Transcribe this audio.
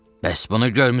Bəs bunu görmüsən?